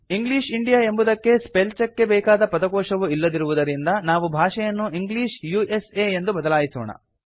English India ಎಂಬುದಕ್ಕೆ spell check ಗೆ ಬೇಕಾದ ಪದಕೋಶವು ಇಲ್ಲದಿರುವುದರಿಂದ ನಾವು ಭಾಷೆಯನ್ನು ಇಂಗ್ಲಿಷ್ ಉಸಾ ಗೆ ಬದಲಾಯಿಸೋಣ